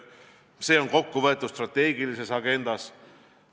See on kokku võetud strateegilises agendas.